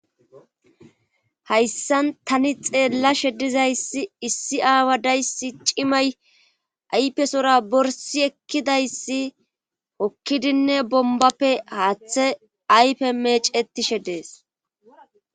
hayssan tani xeellashe dizayssi issi aawa dayssi cimay aypesora borsi ekkidayssi hokkidinne bombappe haaththe aype mecetishe dees